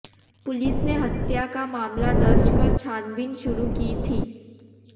police ने हत्या का मामला दर्ज कर छानबीन शुरू की थी